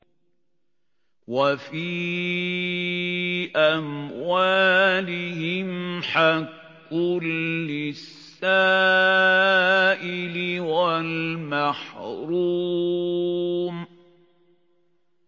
وَفِي أَمْوَالِهِمْ حَقٌّ لِّلسَّائِلِ وَالْمَحْرُومِ